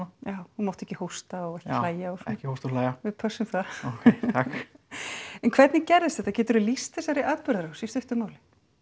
já þú mátt ekki hósta eða hlæja og svona ekki hósta og hlæja við pössum það ókei takk en hvernig gerðist þetta geturðu lýst þessari atburðarás í stuttu máli